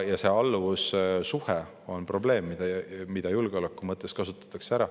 Ja alluvussuhe on probleem, mida julgeoleku mõttes kasutatakse ära.